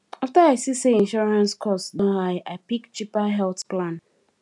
after i see say insurance cost don high i pick cheaper health plan